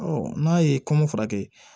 n'a ye kɔn furakɛ